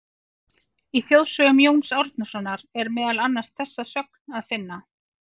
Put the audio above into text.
Í Þjóðsögum Jóns Árnasonar er meðal annars þessa sögn að finna: